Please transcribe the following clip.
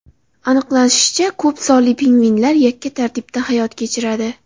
Aniqlanishicha, ko‘p sonli pingvinlar yakka tartibda hayot kechiradi.